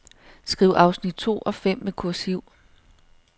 Skriv afsnit to og fem med kursiv.